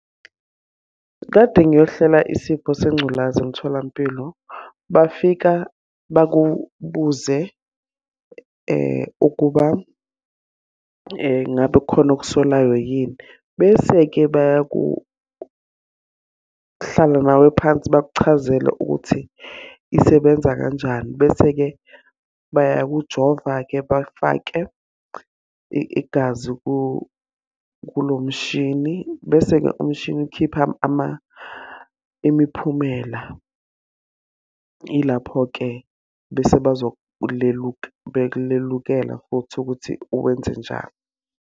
Kade ngiyohlela isifo sengculazi emtholampilo. Bafika bakubuze ukuba ngabe khona okusolayo yini. Bese-ke bayakuhlala nawe phansi bakuchazele ukuthi isebenza kanjani. Bese-ke bayaku jova-ke bakufake igazi kulo mshini. Bese-ke umshini ukhipha imiphumela. Ilapho-ke bese bekulelukela futhi ukuthi wenze njani.